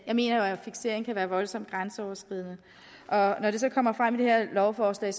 jeg mener jo at fiksering kan være voldsomt grænseoverskridende og når det så kommer frem i det her lovforslag